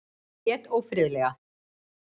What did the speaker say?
Hann lét ófriðlega.